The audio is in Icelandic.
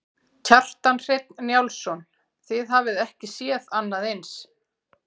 Kjartan Hreinn Njálsson: Þið hafið ekki séð annað eins?